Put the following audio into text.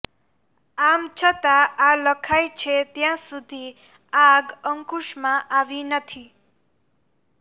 આમ છતાં આ લખાય છે ત્યાં સુધી આગ અંકુશમાં આવી નથી